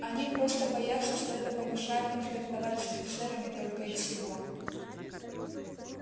они просто боятся что это помешает им флиртовать с офицерами только и всего